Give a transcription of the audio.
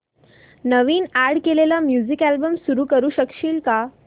नवीन add केलेला music album सुरू करू शकशील का